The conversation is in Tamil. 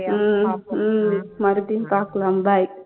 உம் உம் மறுபடியும் பாக்கலாம் bye